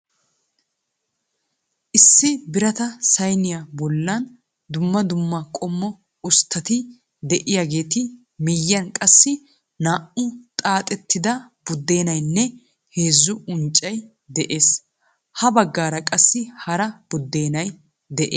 Issi birata sayniya boollan dumma dumma qommo usttati de"iyaageetu miyiyan qassi naa"u xaaxettida buddenaynne heezzu unccay de'ees. Ya baggaara qassi hara buddeenay de'ees.